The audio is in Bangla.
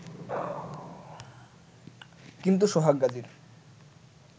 কিন্তু সোহাগ গাজীর